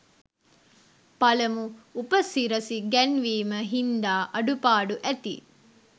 පළමු උපසිරසි ගැන්වීම හින්දා අඩුපාඩු ඇති.